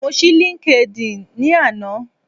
Mo ṣí LinkedIn ni ana